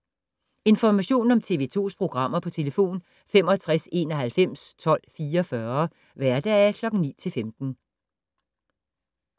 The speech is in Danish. Information om TV 2's programmer: 65 91 12 44, hverdage 9-15.